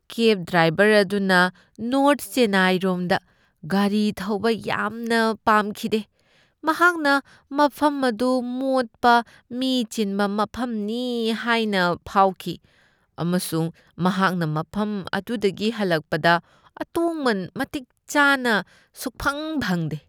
ꯀꯦꯕ driver ꯑꯗꯨꯅ north ꯆꯦꯟꯅꯥꯏꯔꯣꯝꯗ ꯒꯥꯔꯤ ꯊꯧꯕ ꯌꯥꯝꯅ ꯄꯥꯝꯈꯤꯗꯦ꯫ ꯃꯍꯥꯛꯅ ꯃꯐꯝ ꯑꯗꯨ ꯃꯣꯠꯄ, ꯃꯤ ꯆꯤꯟꯕ ꯃꯐꯝꯅꯤ ꯍꯥꯏꯅ ꯐꯥꯎꯈꯤ, ꯑꯃꯁꯨꯡ ꯃꯍꯥꯛꯅ ꯃꯐꯝ ꯑꯗꯨꯗꯒꯤ ꯍꯜꯂꯛꯄꯗ ꯑꯇꯣꯡꯃꯟ ꯃꯇꯤꯛ ꯆꯥꯅ ꯁꯨꯛꯐꯪ ꯐꯪꯗꯦ ꯫